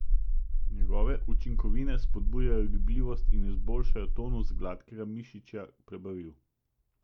Njegove učinkovine spodbujajo gibljivost in izboljšajo tonus gladkega mišičja prebavil.